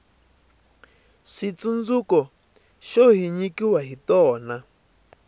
switsundzuko xo hi nyikiwa hi tona